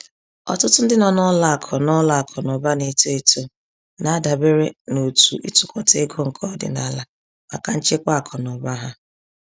Ọtụtụ ndị nọ n’ụlọ akụ n’ụlọ akụ na ụba na-eto eto na-adabere n’òtù ịtukọta ego nke ọdịnala maka nchekwa akụ na ụba ha.